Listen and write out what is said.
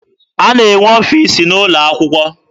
A na-enwe ọfiisi n'ụlọ akwụkwọ.